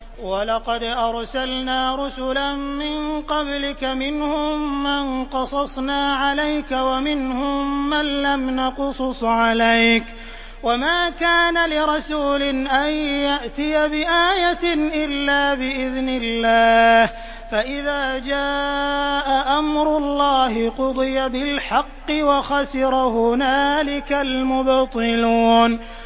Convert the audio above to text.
وَلَقَدْ أَرْسَلْنَا رُسُلًا مِّن قَبْلِكَ مِنْهُم مَّن قَصَصْنَا عَلَيْكَ وَمِنْهُم مَّن لَّمْ نَقْصُصْ عَلَيْكَ ۗ وَمَا كَانَ لِرَسُولٍ أَن يَأْتِيَ بِآيَةٍ إِلَّا بِإِذْنِ اللَّهِ ۚ فَإِذَا جَاءَ أَمْرُ اللَّهِ قُضِيَ بِالْحَقِّ وَخَسِرَ هُنَالِكَ الْمُبْطِلُونَ